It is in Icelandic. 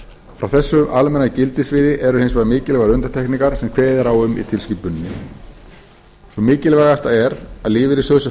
frá þessu almenna gildissviði eru hins vegar mikilvægar undantekningar sem kveðið er á um í tilskipuninni sú mikilvægasta er að lífeyrissjóðir sem